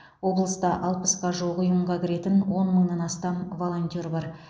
облыста алпысқа жуық ұйымға кіретін он мыңнан астам волонтер бар